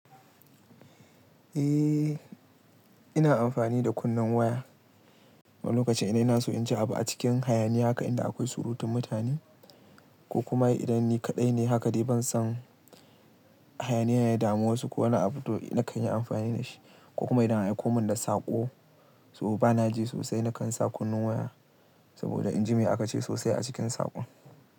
Eh, ina amfani da kunnen waya lokacin idan ina so in ji abu a cikin hayaniya haka inda akwai surutun mutane. Ko kuma idan ni kaɗai ne haka dai ban son. Hayaniya ya damu wasu ko wani abu to na kan yi amfani da shi. Ko kuma idan an aiko mun da saƙo, so bana ji sosai nakan sa kunnen waya. Saboda inji mai aka ce sosai a cikin saƙon.